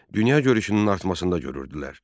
Dünya görüşünün artmasına görəydilər.